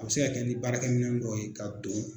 A bi se ka kɛ ni baarakɛminɛ dɔw ye ka don.